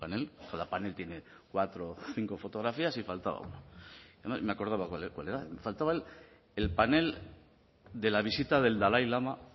cada panel tiene cuatro o cinco fotografías y faltaba uno entonces me acordaba de cuál era faltaba el panel de la visita del dalai lama